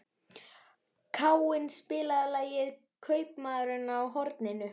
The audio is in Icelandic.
Káinn, spilaðu lagið „Kaupmaðurinn á horninu“.